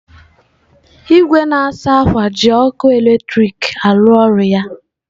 Igwe na-asa akwa ji ọkụ eletrik a-arụ ọrụ ya.